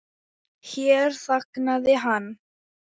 Hér þagnaði hann.